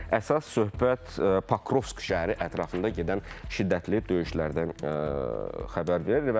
Əsas söhbət Pokrovski şəhəri ətrafında gedən şiddətli döyüşlərdən xəbər verir.